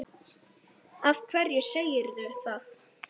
Af hverju segirðu það?